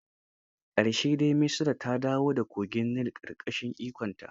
A ƙarshe dai, Misra ta dawo da kogin Nil ƙarƙashin ikonta.